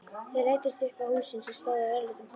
Þeir læddust upp að húsinu sem stóð á örlitlum hól.